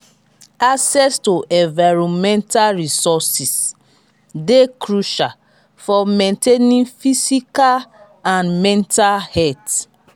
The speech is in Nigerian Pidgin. access to environmental resourses dey crucial for maintaining physical and mental health.